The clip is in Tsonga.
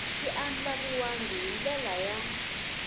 swi andlariwangi hi ndlela ya